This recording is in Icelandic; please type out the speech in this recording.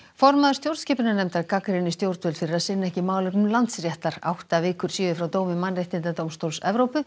formaður stjórnskipunarnefndar gagnrýnir stjórnvöld fyrir að sinna ekki málefnum Landsréttar átta vikur séu frá dómi mannréttindadómstóls Evrópu